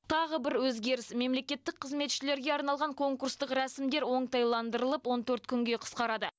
тағы бір өзгеріс мемлекеттік қызметшілерге арналған конкурстық рәсімдер оңтайландырылып он төрт күнге қысқарады